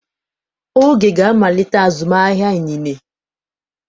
Oge ga-amalite azụmahịa inine.